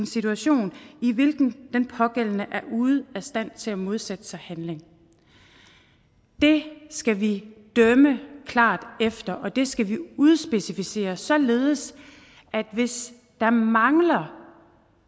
situation i hvilken den pågældende er ude af stand til at modsætte sig handlingen det skal vi dømme klart efter og det skal vi udspecificere således at hvis der mangler